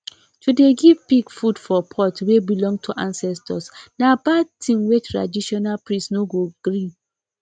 to dey give pig food for pot wey belong to ancestors na bad thing wey traditional priest no go gree